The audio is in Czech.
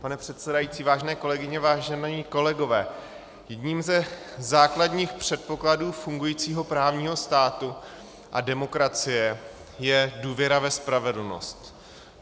Pane předsedající, vážené kolegyně, vážení kolegové, jedním ze základních předpokladů fungujícího právního státu a demokracie je důvěra ve spravedlnost.